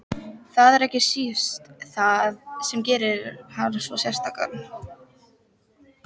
Það er ekki síst það sem gerir hann svo sérstakan.